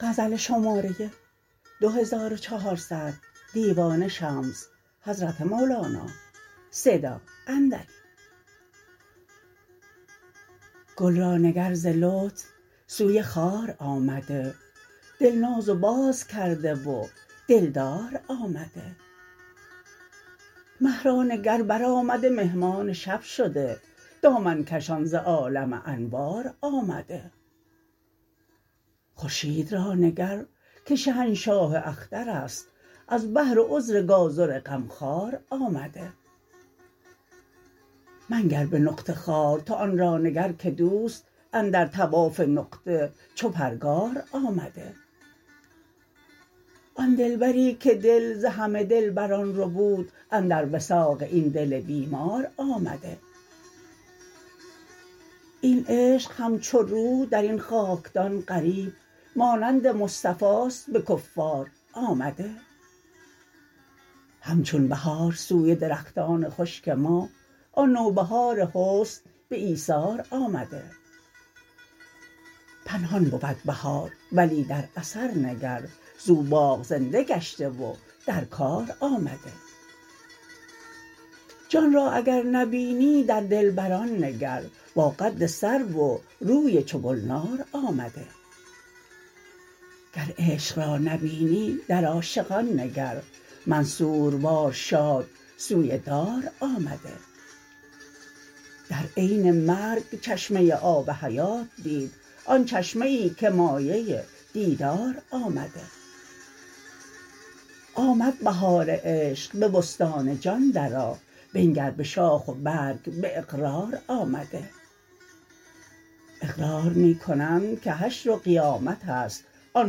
گل را نگر ز لطف سوی خار آمده دل ناز و باز کرده و دلدار آمده مه را نگر برآمده مهمان شب شده دامن کشان ز عالم انوار آمده خورشید را نگر که شهنشاه اختر است از بهر عذر گازر غمخوار آمده منگر به نقطه خوار تو آن را نگر که دوست اندر طواف نقطه چو پرگار آمده آن دلبری که دل ز همه دلبران ربود اندر وثاق این دل بیمار آمده این عشق همچو روح در این خاکدان غریب مانند مصطفاست به کفار آمده همچون بهار سوی درختان خشک ما آن نوبهار حسن به ایثار آمده پنهان بود بهار ولی در اثر نگر زو باغ زنده گشته و در کار آمده جان را اگر نبینی در دلبران نگر با قد سرو و روی چو گلنار آمده گر عشق را نبینی در عاشقان نگر منصوروار شاد سوی دار آمده در عین مرگ چشمه آب حیات دید آن چشمه ای که مایه دیدار آمده آمد بهار عشق به بستان جان درآ بنگر به شاخ و برگ به اقرار آمده اقرار می کنند که حشر و قیامت است آن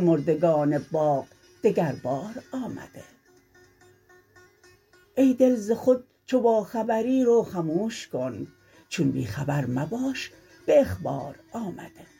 مردگان باغ دگربار آمده ای دل ز خود چو باخبری رو خموش کن چون بی خبر مباش به اخبار آمده